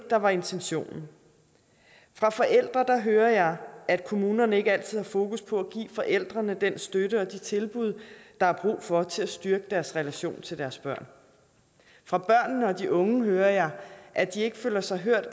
der var intentionen fra forældre hører jeg at kommunerne ikke altid har fokus på at give forældrene den støtte og de tilbud der er brug for til at styrke deres relation til deres børn fra børnene og de unge hører jeg at de ikke føler sig hørt